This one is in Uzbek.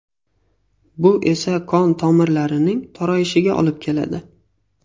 Bu esa qon tomirlarining torayishiga olib keladi.